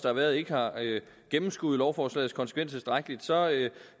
har været ikke har gennemskuet lovforslagets konsekvenser tilstrækkeligt